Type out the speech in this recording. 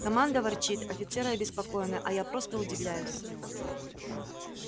команда ворчит офицеры обеспокоены а я просто удивляюсь